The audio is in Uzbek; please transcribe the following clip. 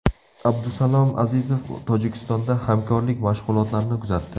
Abdusalom Azizov Tojikistonda hamkorlik mashg‘ulotlarini kuzatdi.